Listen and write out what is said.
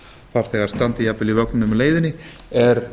farþegar standi jafnvel í vögnum á leiðinni er